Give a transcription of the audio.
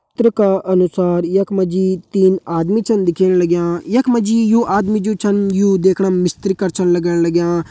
चित्र का अनुसार यख मा जी तीन आदमी छन दिखेण लग्यां यख मा जी यू आदमी जु छन यू देखणा मा मिस्त्री कर छन लगण लग्यां।